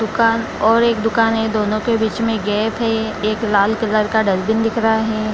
दुकान और एक दुकान है दोनों के बीच में गेप है एक लाल कलर का डस्ट्बिन दिख रहा है।